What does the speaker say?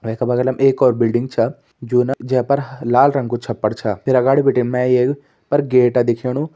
वै का बगलम एक और बिल्डिंग छा जू ना जै पर ह-लाल रंग कु छपर छा फिर अगाड़ी बिटिन मैं एक पर गेट दिखेणु।